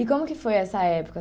E como que foi essa época?